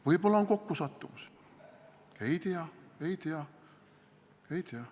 Võib-olla on kokkusattumus – ei tea, ei tea, ei tea.